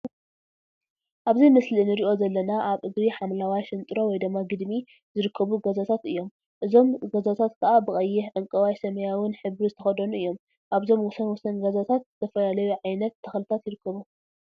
አብዚ ምስሊ እንሪኦ ዘለና አብ እግሪ ሓምለዋይ ሽንጥሮ/ግድሚ/ ዝርከቡ ገዛታት እዮም፡፡ እዞም ገዛታት ከዓ ብቀይሕ፣ ዕንቋይን ሰማያዊን ሕብሪ ዝተከደኑ እዮም፡፡ አብዞም ወሰን ወሰን ገዛታት ዝተፈላለዩ ዓይነት ተክሊታት ይርከቡ፡፡